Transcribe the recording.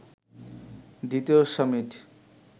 দ্বিতীয় সামিট